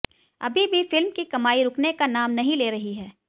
अभी भी फिल्म की कमाई रुकने का नाम नहीं ले रही है